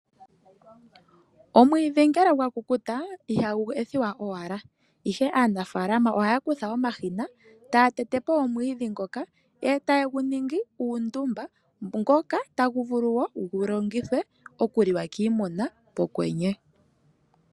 Omwiidhi ngele gwa kukuta ihagu ethiwa owala, ihe aanafaalama ohaya kutha omashina e taya tete po omwiidhi ngoka e taye gu ningi uundumba, ngoka tagu vulu wo gu longithwe okuliwa kiimuna pokwenye.